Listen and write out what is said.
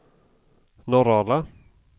Norrala